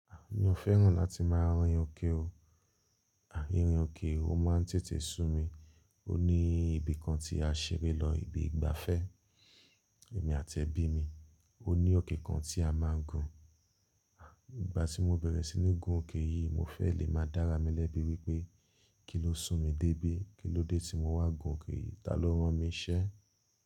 Mi ò fẹ́ràn láti máa rán èyan kiri. À, irun òkè o máa ń tètè sú mi. Ó ní ibì kan tí a ṣeré lọ, ibi ìgbafẹ́ èmi àti ẹbí mi. Ó ní òkè kan tí a máa ń gùn. À, ìgbà tí mo bẹ̀rẹ̀ sí ní gun òkè yìí mo fẹ́ lè máa dára mi lẹ́bi wípé kí ló sún mi dé bí? Kílódé tí mowá gun òkè yìí, ta ló ránmi nse.